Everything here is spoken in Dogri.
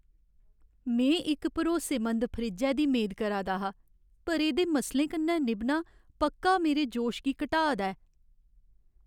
में इक भरोसेमंद फ्रिज्जै दी मेद करा दा हा, पर एह्दे मसलें कन्नै निभना पक्का मेरे जोश गी घटाऽ दा ऐ।